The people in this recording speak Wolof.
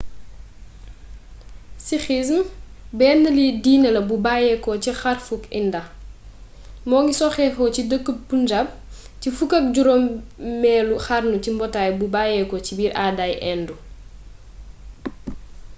sikhism bénn diiné la bu bayyéko ci xarfuk inda moongi soxéko ci deekkeub punjab ci fukk ak juroomélu xarnu ci mbootay bu bayéko ci biir aaday hindu